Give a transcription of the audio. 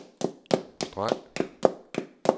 streg